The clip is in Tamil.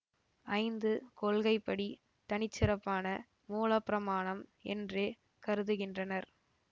ஐந்து கொள்கைப்படி தனிச்சிறப்பான மூலப்பிரமாணம் என்றே கருதுகின்றனர்